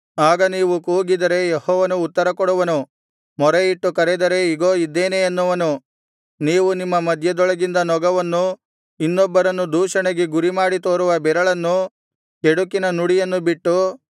ಆಗ ನೀವು ಕೂಗಿದರೆ ಯೆಹೋವನು ಉತ್ತರಕೊಡುವನು ಮೊರೆಯಿಟ್ಟು ಕರೆದರೆ ಇಗೋ ಇದ್ದೇನೆ ಅನ್ನುವನು ನೀವು ನಿಮ್ಮ ಮಧ್ಯದೊಳಗಿಂದ ನೊಗವನ್ನು ಇನ್ನೊಬ್ಬರನ್ನು ದೂಷಣೆಗೆ ಗುರಿಮಾಡಿ ತೋರುವ ಬೆರಳನ್ನು ಕೆಡುಕಿನ ನುಡಿಯನ್ನು ಬಿಟ್ಟು